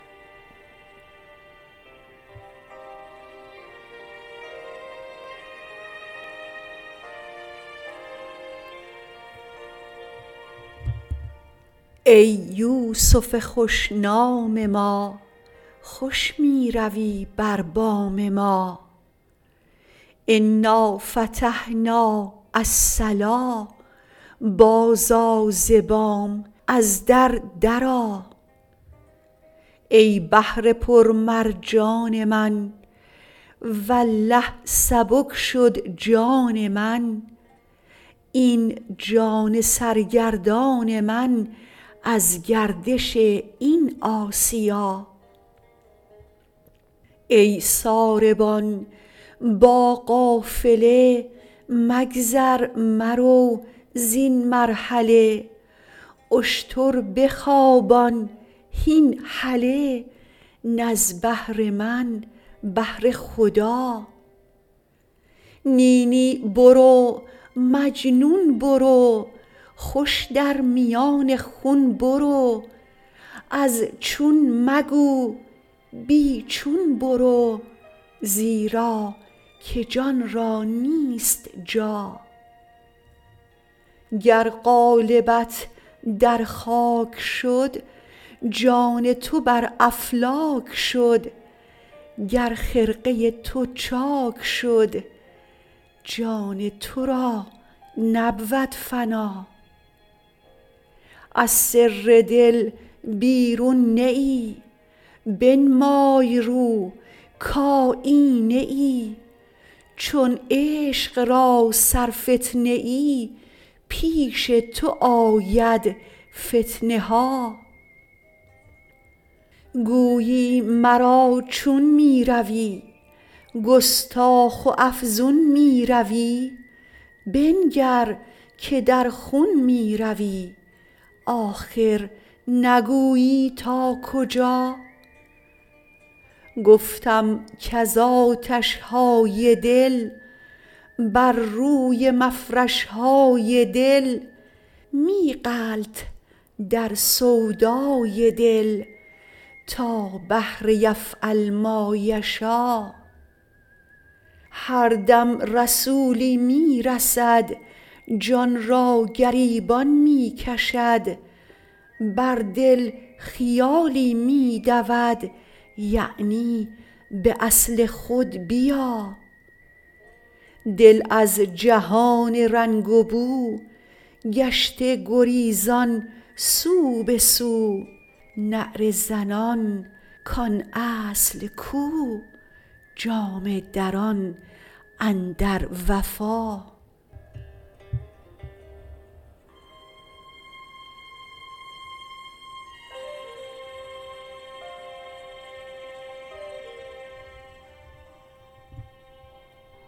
ای یوسف خوش نام ما خوش می روی بر بام ما انا فتحنا الصلا بازآ ز بام از در درآ ای بحر پرمرجان من والله سبک شد جان من این جان سرگردان من از گردش این آسیا ای ساربان با قافله مگذر مرو زین مرحله اشتر بخوابان هین هله نه از بهر من بهر خدا نی نی برو مجنون برو خوش در میان خون برو از چون مگو بی چون برو زیرا که جان را نیست جا گر قالبت در خاک شد جان تو بر افلاک شد گر خرقه تو چاک شد جان تو را نبود فنا از سر دل بیرون نه ای بنمای رو کایینه ای چون عشق را سرفتنه ای پیش تو آید فتنه ها گویی مرا چون می روی گستاخ و افزون می روی بنگر که در خون می روی آخر نگویی تا کجا گفتم کز آتش های دل بر روی مفرش های دل می غلط در سودای دل تا بحر یفعل ما یشا هر دم رسولی می رسد جان را گریبان می کشد بر دل خیالی می دود یعنی به اصل خود بیا دل از جهان رنگ و بو گشته گریزان سو به سو نعره زنان کان اصل کو جامه دران اندر وفا